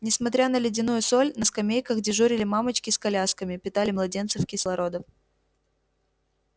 несмотря на ледяную соль на скамейках дежурили мамочки с колясками питали младенцев кислородом